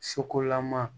Sokolama